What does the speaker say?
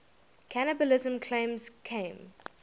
cannibalism claims came